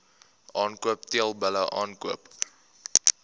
aankoop teelbulle aankoop